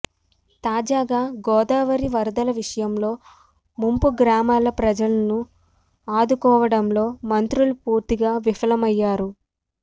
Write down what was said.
తాజాగా గోదావరి వరదల విషయంలో ముంపు గ్రామాల ప్రజలను ఆదుకోవడంలో మంత్రులు పూర్తిగా విఫలమయ్యారు